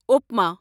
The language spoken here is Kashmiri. اوپما